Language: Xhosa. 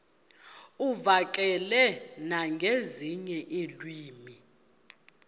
uvakale nangezinye iilwimi